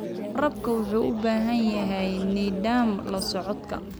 Waraabka wuxuu u baahan yahay nidaam la socodka.